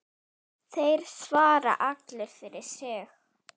Þeir svara allir fyrir sig.